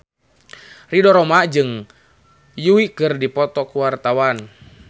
Ridho Roma jeung Yui keur dipoto ku wartawan